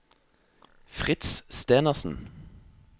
Fritz Stenersen